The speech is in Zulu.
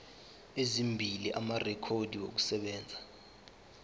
ezimbili amarekhodi okusebenza